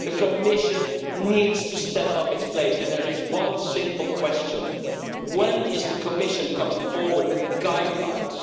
The Commission needs to step up to the plate, and there is one simple question when is the Commission going to come forward with guidelines?